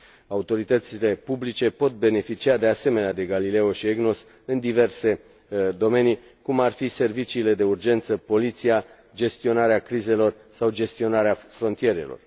Autoritățile publice pot beneficia, de asemenea, de Galileo și EGNOS în diverse domenii, cum ar fi serviciile de urgență, poliția, gestionarea crizelor sau gestionarea frontierelor.